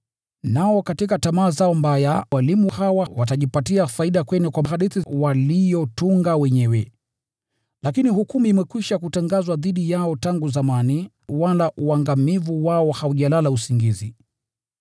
Nao katika tamaa zao mbaya, walimu hawa watajipatia faida kwenu kwa hadithi walizotunga wenyewe. Lakini hukumu imekwisha kutangazwa dhidi yao tangu zamani, wala uangamivu wao haujalala usingizi.